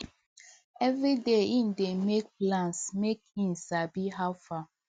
every day him dey make plans make him sabi how far